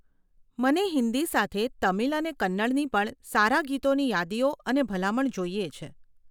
મને હિંદી સાથે તમિલ અને કન્નડની પણ સારા ગીતોની યાદીઓ અને ભલામણ જોઈએ છે.